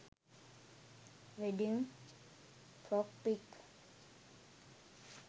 wedding frock pic